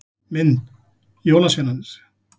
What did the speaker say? Mynd: Jólasveinarnir.